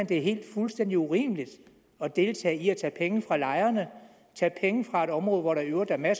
det er fuldstændig urimeligt at deltage i at tage penge fra lejerne tage penge fra et område hvor der i øvrigt er meget